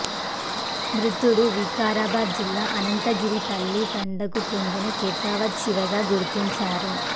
మృతుడు వికారాబాద్ జిల్లా అనంతగిరిపల్లి తండాకు చెందిన కాటావత్ శివగా గుర్తించారు